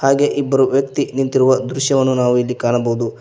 ಹಾಗೆ ಇಬ್ಬರು ವ್ಯಕ್ತಿ ನಿಂತಿರುವ ದೃಶ್ಯವನ್ನು ನಾವು ಇಲ್ಲಿ ಕಾಣಬಹುದು.